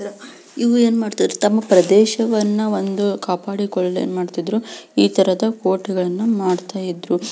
ಇವು ಏನ್ ಮಾಡ್ತರ್ ತಮ್ಮ ಪ್ರದೇಶವನ್ನು ಒಂದು ಕಾಪಾಡಿಕೊಳಲು ಏನ್ ಮಾಡ್ತಿದ್ರು ಈತರದ ಕೋಟೆಗಳನ್ನು ಮಾಡ್ತಾ ಇದ್ರೂ -